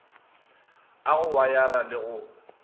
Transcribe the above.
a go wayara le go